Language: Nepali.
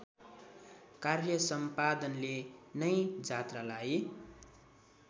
कार्यसम्पादनले नै जात्रालाई